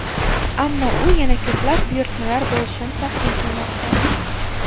Ammo u yana ko‘plab buyurtmalar bo‘lishini taxmin qilmoqda.